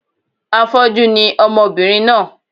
Afọ́jú ni ọmọbìnrin náà